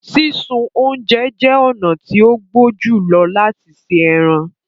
Sísun ọ̀unjẹ jẹ ọ̀na tí o gbó júlọ̀ lati ṣẹ ẹrán